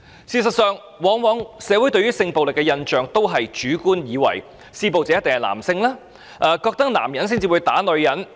事實上，社會對性暴力事件的印象往往流於主觀，以為施暴者一定是男性，男人才會打女人。